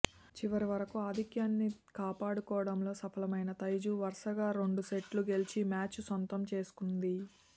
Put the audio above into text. చివరి వరకు ఆధిక్యాన్ని కాపాడుకోవడంలో సఫలమైన తైజు వరుసగా రెండు సెట్లు గెలిచి మ్యాచ్ను సొంతం చేసుకుంది